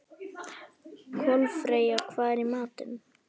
Kolfreyja, hvað er í matinn?